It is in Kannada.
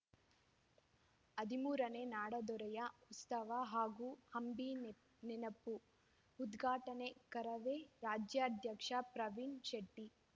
ಹದಿಮೂರನೇ ನಾಡದೊರೆಯ ಉತ್ಸವ ಹಾಗೂ ಅಂಬಿ ನೆನಪು ಉದ್ಘಾಟನೆ ಕರವೇ ರಾಜ್ಯಾಧ್ಯಕ್ಷ ಪ್ರವೀಣ್‌ ಶೆಟ್ಟಿ